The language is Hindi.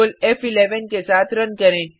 Ctrl फ़11 के साथ रन करें